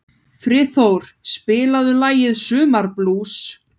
Friðþór, spilaðu lagið „Sumarblús“.